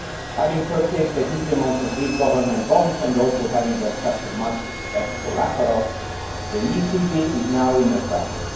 Having purchased a huge amount of Greek Government bonds, and also having accepted much as collateral, the ECB is now trapped.